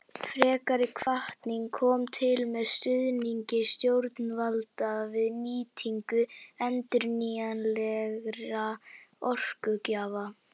Frekari hvatning kom til með stuðningi stjórnvalda við nýtingu endurnýjanlegra orkugjafa.